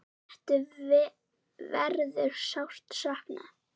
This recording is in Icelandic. Settu verður sárt saknað.